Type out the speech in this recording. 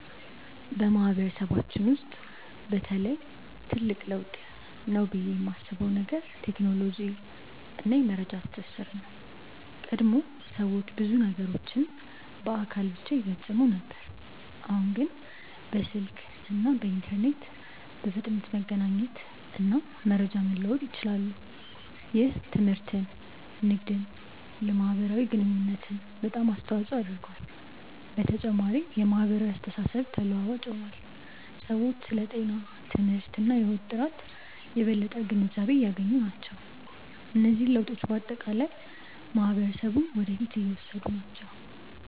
በማህበረሰባችን ውስጥ በተለይ ትልቅ ለውጥ ነው ብዬ የማስበው ነገር ቴክኖሎጂ እና የመረጃ ትስስር ነው። ቀድሞ ሰዎች ብዙ ነገሮችን በአካል ብቻ ይፈጽሙ ነበር፣ አሁን ግን በስልክ እና በኢንተርኔት በፍጥነት መገናኘት እና መረጃ መለዋወጥ ይችላሉ። ይህ ትምህርትን፣ ንግድን እና የማህበራዊ ግንኙነትን በጣም አስተዋፅኦ አድርጓል። በተጨማሪም የማህበራዊ አስተሳሰብ ተለዋዋጭ ሆኗል፤ ሰዎች ስለ ጤና፣ ትምህርት እና የህይወት ጥራት የበለጠ ግንዛቤ እያገኙ ናቸው። እነዚህ ለውጦች በአጠቃላይ ማህበረሰቡን ወደ ፊት እየወሰዱ ናቸው።